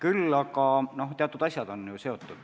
Samas on paljud asjad omavahel seotud.